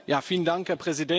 Herr Präsident!